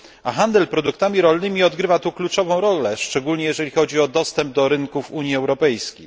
A handel produktami rolnymi odgrywa tu kluczową rolę, szczególnie jeśli chodzi o dostęp do rynków Unii Europejskiej.